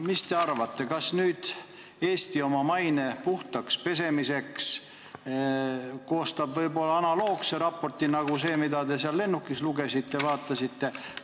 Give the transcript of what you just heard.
Mis te arvate, kas Eesti koostab oma maine puhtaks pesemiseks analoogse raporti nagu see, mida te seal lennukis lugesite?